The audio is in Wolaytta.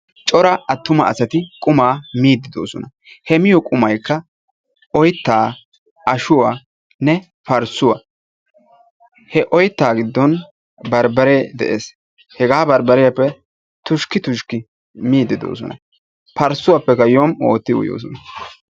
Cora attuma asati qumaa miiddi doosona he miyoo qumaykka oyittaa, ashuwaanne parssuwaa he oyttaa giddon barbaree de'ees hegaa barbbariyaappe tushkki tushkki miiddi doosona parssuwaappekka yom'u ootti uyoosona.